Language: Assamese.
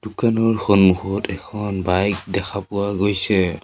দোকানৰ সন্মুখত এখন বাইক দেখা পোৱা গৈছে।